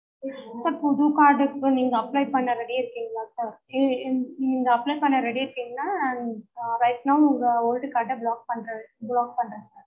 sir புது card க்கு நீங்க apply பண்ண ready ஆ இருக்கீங்களா sir நீங்க apply பண்ண ready ஆ இருக்கிங்கனா right now உங்க old card அ block பண்ற block பண்றேன்